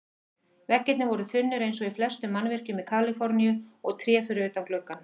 Veggirnir voru þunnir eins og í flestum mannvirkjum í Kaliforníu, og tré fyrir utan gluggann.